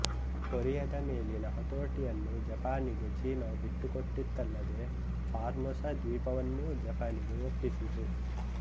ಕೊರಿಯದ ಮೇಲಿನ ಹತೋಟಿಯನ್ನು ಜಪಾನಿಗೆ ಚೀನ ಬಿಟ್ಟುಕೊಟ್ಟಿತಲ್ಲದೆ ಫಾರ್ಮೊಸ ದ್ವೀಪವನ್ನೂ ಜಪಾನಿಗೆ ಒಪ್ಪಿಸಿತು